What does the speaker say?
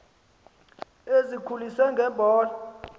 ezikholise nge mbola